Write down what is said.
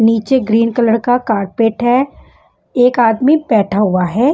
नीचे green colour का carpet है एक आदमी बैठा हुआ है।